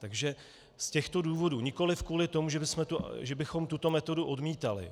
Takže z těchto důvodů, nikoliv kvůli tomu, že bychom tuto metodu odmítali.